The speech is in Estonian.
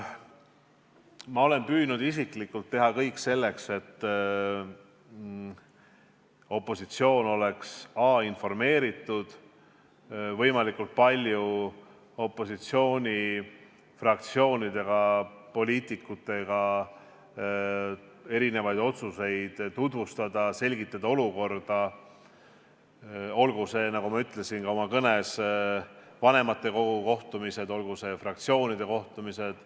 Ma olen püüdnud isiklikult teha kõik selleks, et opositsioon oleks informeeritud, olen püüdnud võimalikult palju opositsioonifraktsioonidele ja poliitikutele otsuseid tutvustada, selgitada olukorda, olgu need, nagu ma ütlesin ka oma kõnes, vanematekogu kohtumised, olgu need fraktsioonide kohtumised.